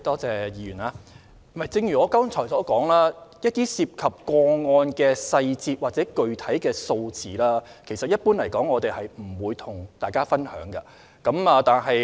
正如我剛才所說，涉及個案的細節或具體數字，一般是不會跟大家分享的。